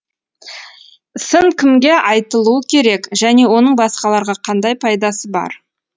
сын кімге айтылуы керек және оның басқаларға қандай пайдасы бар